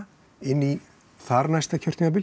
inn í þarnæsta kjörtímabil